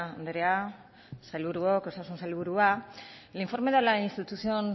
andrea sailburuok osasun sailburua el informe de la institución